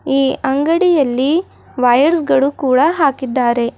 ಈ ಅಂಗಡಿಯಲ್ಲಿ ವೈಯರ್ಸಗಳು ಕೂಡ ಹಾಕಿದ್ದಾರೆ.